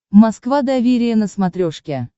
москва доверие на смотрешке